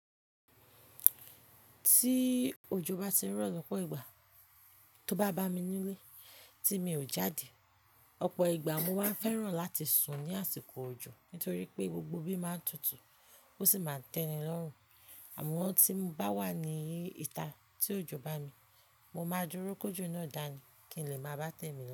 Tí òjò bá ti ń rọ̀ lọ́pọ̀ ìgbà, tó bá bá mi nílé tí mi ò jáde, ọ̀pọ̀ ìgbà mo máa ń fẹ́ràn láti sùn ní àsìkò òjò nítorí pé gbogbo ibi máa ń tutù ó sì máa ń tẹ́ni lọ́rùn. Àmọ́ tí mo bá wà ní ìta tí òjò bá mí, mo máa dúró kójo náà dáa ni kí n lè máa bá tèmi lọ́.